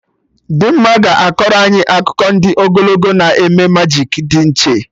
Dimma ga-akọrọ anyị akụkọ ndị ogologo na eme majik dị iche